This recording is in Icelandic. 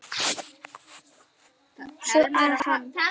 Svo að hann.